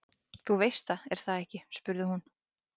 Hundgreyið vissi auðsjáanlega ekkert hvað hann ætti af sér að gera.